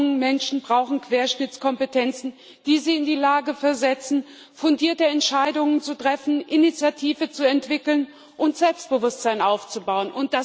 Alle jungen Menschen brauchen Querschnittskompetenzen, die sie in die Lage versetzen, fundierte Entscheidungen zu treffen, Initiative zu entwickeln und Selbstbewusstsein aufzubauen.